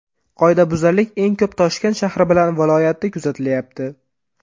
Qoidabuzarlik eng ko‘p Toshkent shahri bilan viloyatida kuzatilyapti.